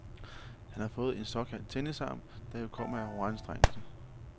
Han har fået en såkaldt tennisarm, der jo kommer af overanstrengelse.